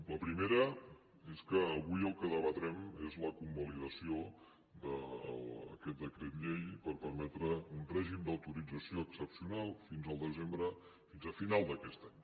la primera és que avui el que debatrem és la convalidació d’aquest decret llei per permetre un règim d’autorització excepcional fins al desembre fins a final d’aquest any